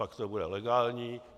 Pak to bude legální.